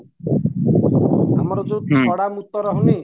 ଆମର ଯୋଉ ଛଡା ମୁତ ରହୁନି